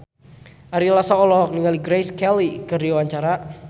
Ari Lasso olohok ningali Grace Kelly keur diwawancara